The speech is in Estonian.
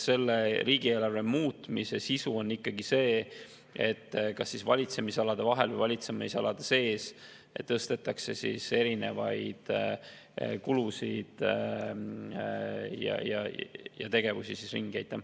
Selle riigieelarve muutmise sisu on ikkagi see, et kas valitsemisalade vahel või valitsemisalade sees tõstetakse erinevaid kulusid ja tegevusi ringi.